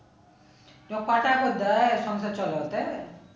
তো ক টাকা দেয় সংসার চালাতে?